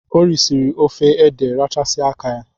O risiri ofe ede rachasia áká ya.